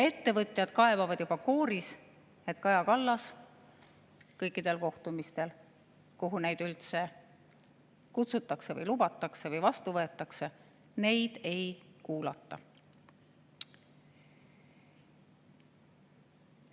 Ettevõtjad kaebavad juba kooris, et Kaja Kallas kõikidel kohtumistel, kuhu neid üldse kutsutakse või lubatakse või vastu võetakse, neid ei kuulata.